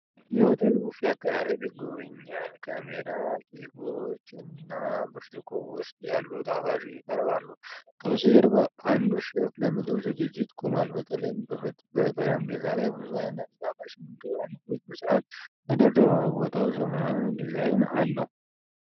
የሆቴል ቡፌ አቀራረብ ይጎበኛል። ከረሜላ፣ ኬኮች፣ እና ብርጭቆ ውስጥ ያሉ ጣፋጮች ይቀርባሉ። ከበስተጀርባ አንዱ ሼፍ ለምግብ ዝግጅት ቆሟል። በተለይም በጠረጴዛ ላይ ብዙ ዓይነት የጣፋጭ ምግብ ዓይነቶች በሥርዓት ተደርድረዋል። ቦታው ዘመናዊ ዲዛይን አለው።